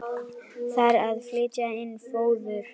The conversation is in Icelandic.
Þarf að flytja inn fóður?